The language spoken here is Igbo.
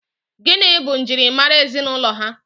Gịnị bụ njirimara ezinụlọ ha?